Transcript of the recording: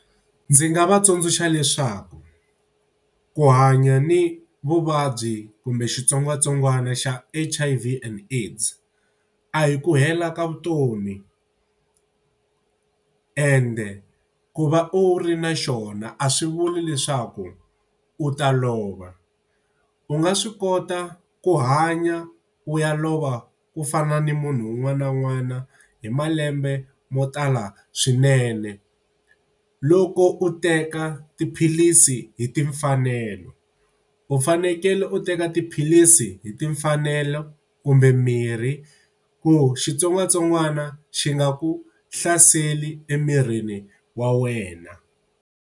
Ndzi nga va tsundzuxa leswaku ku hanya ni vuvabyi kumbe xitsongwatsongwana xa H_I_V and AIDS a hi ku hela ka vutomi ende ku va u ri na xona a swi vuli leswaku u ta lova. U nga swi kota ku hanya u ya lova ku fana ni munhu un'wana na un'wana hi malembe mo tala swinene. Loko u teka tiphilisi hi timfanelo. U fanekele u teka tiphilisi hi timfanelo kumbe mirhi ku xitsongwatsongwana xi nga ku hlaseli emirini wa wena.